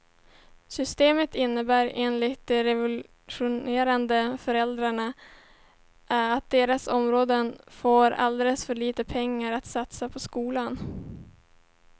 Systemet innebär enligt de revolterande föräldrarna att deras områden får alldeles för lite pengar att satsa på skolorna.